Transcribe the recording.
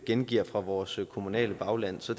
gengiver fra vores kommunale bagland så